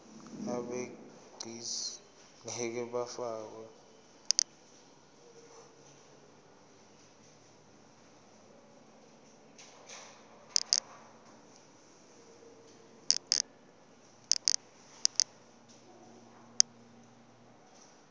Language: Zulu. abegcis ngeke bafakwa